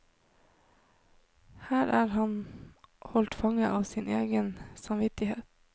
Her er han holdt fanget av sin egen samvittighet.